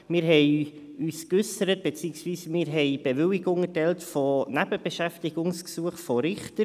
Wir äusserten uns zu beziehungsweise erteilten Bewilligungen für Nebenbeschäftigungsgesuche von Richtern.